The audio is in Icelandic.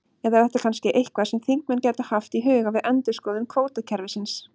Eða er þetta kannski eitthvað sem þingmenn gætu haft í huga við endurskoðun kvótakerfisins?